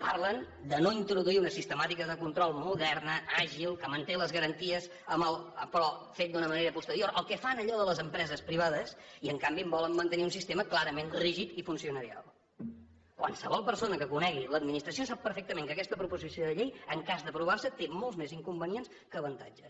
parlen de no introduir una sistemàtica de control moderna àgil que manté les garanties però fet d’una manera posterior el que fan allò les empreses privades i en canvi em volen mantenir un sistema clarament rígid i funcionarial qualsevol persona que conegui l’administració sap perfectament que aquesta proposició de llei en cas d’aprovar se té molts més inconvenients que avantatges